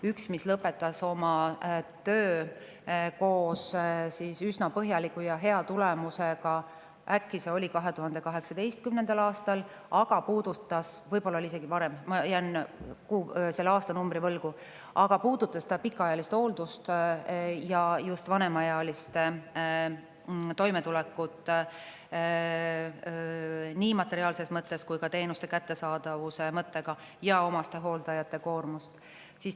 Üks lõpetas oma töö üsna põhjaliku ja hea tulemusega – äkki see oli 2018. aastal, võib-olla isegi varem, ma jään selle aastanumbri võlgu –, see puudutas pikaajalist hooldust ja just vanemaealiste toimetulekut nii materiaalses kui ka teenuste kättesaadavuse mõttes ja omastehooldajate koormust.